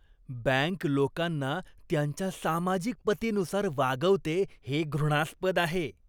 Bank लोकांना त्यांच्या सामाजिक पतीनुसार वागवते हे घृणास्पद आहे.